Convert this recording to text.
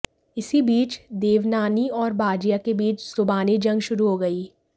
इसी बीच देवनानी और बाजिया के बीच जुबानी जंग शुरू हो गई